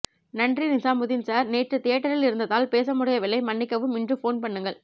நன்றி நிஜாமுதீன் சார் நேற்று தியேட்டரில் இருந்ததால் பேச முடியவில்லை மன்னிக்கவும் இன்று போன் பண்ணுங்கள்